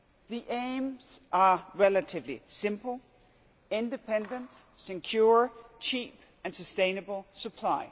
The aims are relatively simple independent, secure, cheap and sustainable supply.